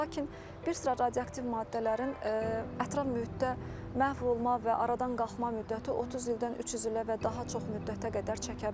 Lakin bir sıra radioaktiv maddələrin ətraf mühitdə məhv olma və aradan qalxma müddəti 30 ildən 300 ilə və daha çox müddətə qədər çəkə bilər.